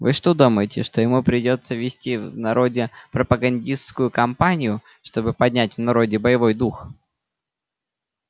вы что думаете что ему придётся вести в народе пропагандистскую кампанию чтобы поднять в народе боевой дух